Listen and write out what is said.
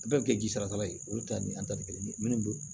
Bɛɛ bɛ kɛ jisara ye olu ta ni an ta tɛ kelen ye minnu